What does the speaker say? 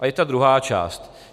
A teď ta druhá část.